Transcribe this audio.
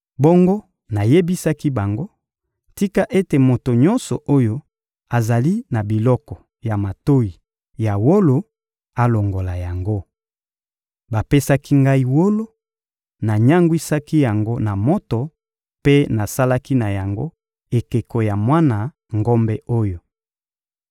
Bongo nayebisaki bango: «Tika ete moto nyonso oyo azali na biloko ya matoyi ya wolo alongola yango.» Bapesaki ngai wolo, nanyangwisaki yango na moto mpe nasalaki na yango ekeko ya mwana ngombe oyo.